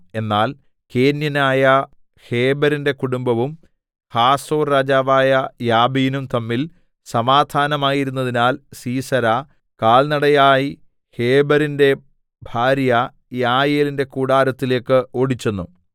എന്നാൽ കേന്യനായ ഹേബെരിന്റെ കുടുംബവും ഹാസോർ രാജാവായ യാബീനും തമ്മിൽ സമാധാനം ആയിരുന്നതിനാൽ സീസെരാ കാൽനടയായി ഹേബെരിന്റെ ഭാര്യ യായേലിന്റെ കൂടാരത്തിലേക്ക് ഓടിച്ചെന്നു